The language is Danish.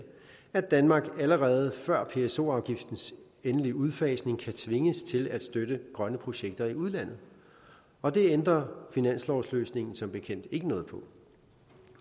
at danmark allerede før pso afgiftens endelige udfasning kan tvinges til at støtte grønne projekter i udlandet og det ændrer finanslovsløsningen som bekendt ikke noget på